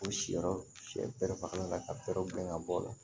U siyɔrɔ sɛranlen ka berew gɛn ka bɔ o la